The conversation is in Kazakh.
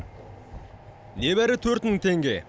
небәрі төрт мың теңге